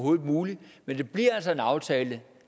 er muligt